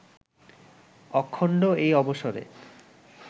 অখণ্ড এই অবসরে